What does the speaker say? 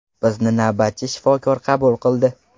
Bizni navbatchi shifokor qabul qildi.